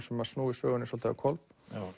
sem snúi sögunni svolítið á hvolf